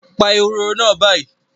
Pa ehoro náà báyìí